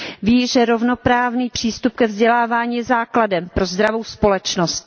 Ví, že rovnoprávný přístup ke vzdělávání je základem pro zdravou společnost.